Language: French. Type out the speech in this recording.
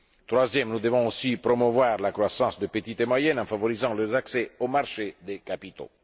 Troisièmement, nous devons aussi promouvoir la croissance des petites et moyennes entreprises en favorisant leur accès aux marchés des capitaux.